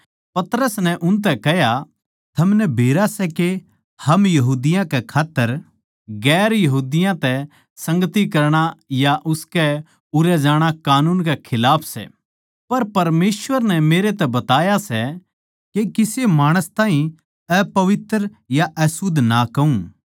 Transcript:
पतरस नै उनतै कह्या थमनै बेरा सै के हम यहूदियाँ कै खात्तर गैर यहूदियाँ तै संगति करणा या उसकै उरै जाणा कानून के खिलाफ सै पर परमेसवर नै मेरै तै बताया सै के किसे माणस ताहीं अपवित्र या अशुध्द ना कहूँ